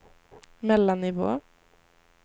mellannivå